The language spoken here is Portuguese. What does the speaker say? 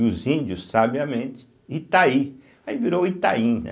E os índios, sabiamente, Itaí, aí virou Itaim, né?